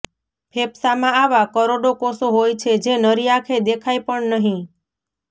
ફેફસામાં આવા કરોડો કોષો હોય છે જે નરી આંખે દેખાય પણ નહી